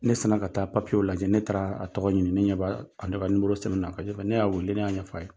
Ne sin na ka taa papiyew lajɛ ne taara a tɔgɔ ɲini ne ɲɛ b'a a ka nimoro sɛbɛnen na ne y'a wele ne y'a ɲɛf'a ye.